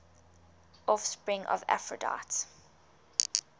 offspring of aphrodite